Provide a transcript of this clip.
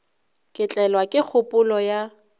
ka tlelwa ke kgopolo ya